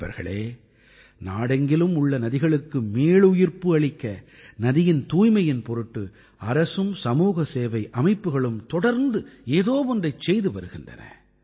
நண்பர்களே நாடெங்கிலும் உள்ள நதிகளுக்கு மீளுயிர்ப்பு அளிக்க நதியின் தூய்மையின் பொருட்டு அரசும் சமூகசேவை அமைப்புக்களும் தொடர்ந்து ஏதோ ஒன்றைச் செய்து வருகின்றன